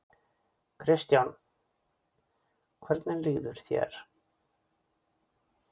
Kristján: Hvernig líður þér?